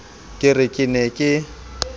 ke re ke ne ke